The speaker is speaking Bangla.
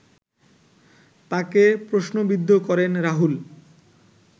তাকে প্রশ্নবিদ্ধ করেন রাহুল